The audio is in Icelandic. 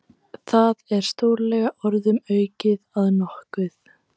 Það er stórlega orðum aukið að nokkuð.